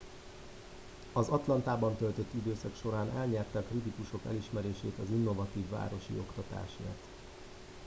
az atlantában töltött időszak során elnyerte a kritikusok elismerését az innovatív városi oktatásért